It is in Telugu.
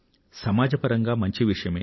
సమాజపరంగా మంచి విషయమే